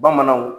Bamananw